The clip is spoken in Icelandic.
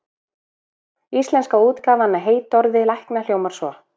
Íslenska útgáfan af heitorði lækna hljómar svo: